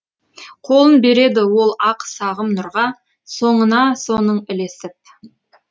қолын береді ол ақ сағым нұрға соңына соның ілесіп